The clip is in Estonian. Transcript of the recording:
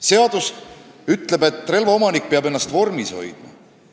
Seadus ütleb, et relvaomanik peab ennast vormis hoidma.